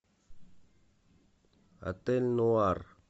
отель нуар